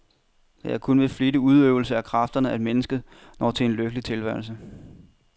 Det er kun ved flittig udøvelse af kræfterne, at mennesket når til en lykkelig tilværelse.